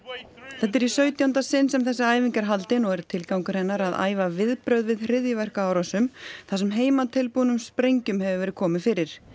þetta er í sautjánda sinn sem þessi æfing er haldin og er tilgangur hennar að æfa viðbrögð við hryðjuverkaárásum þar sem heimatilbúnum sprengjum hefur verið komið fyrir